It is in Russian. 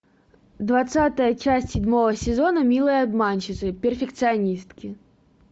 двадцатая часть седьмого сезона милые обманщицы перфекционистки